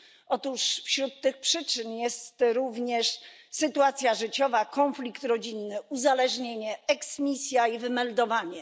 Otóż wśród tych przyczyn jest również sytuacja życiowa, konflikt rodzinny, uzależnienie, eksmisja i wymeldowanie.